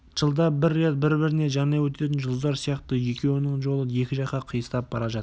жылда бір рет біріне-бірі жанай өтетін жұлдыздар сияқты екеуінің жолы екі жаққа қиыстап бара жатты